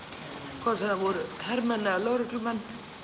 hvort sem það voru hermenn eða lögreglumenn